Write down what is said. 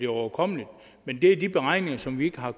overkommeligt men det er de beregninger som vi ikke har